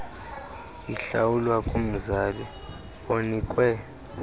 ihlawulwa kumzali onikwe